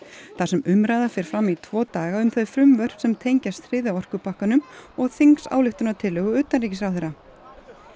þar sem umræða fer fram í tvo daga um þau frumvörp sem tengjast þriðja orkupakkanum og þingsályktunartillögu utanríkisráðherra